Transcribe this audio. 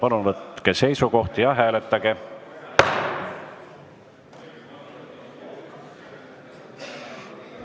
Palun võtke seisukoht ja hääletage!